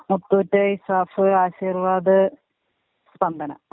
മുത്തൂറ്റ്, ഇസാഫ്, ആശിർവാദ്, സ്പന്ദനം.